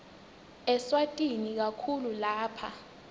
eswatini kakhulu lapha